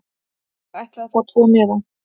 Ég ætla að fá tvo miða.